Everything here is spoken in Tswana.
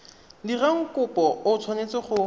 dirang kopo o tshwanetse go